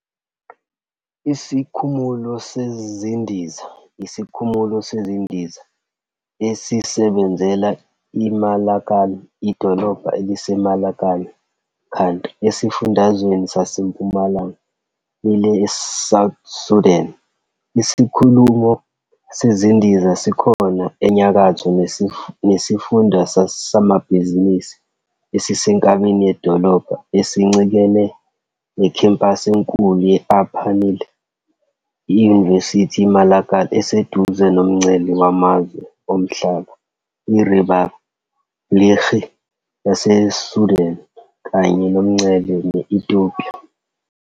Isikhumulo sezindiza yisikhumulo sezindiza esisebenzela iMalakal, idolobha eliseMalakal County esifundazweni saseMpumalanga Nile eSouth Sudan. Isikhumulo sezindiza sikhona nje enyakatho nesifunda samabhizinisi esisenkabeni yedolobha, esincikene nekhempasi enkulu ye-Upper Nile University. IMalakal iseduze nomngcele wamazwe omhlaba neRiphabhlikhi yaseSudan kanye nomngcele ne-Ethiopia.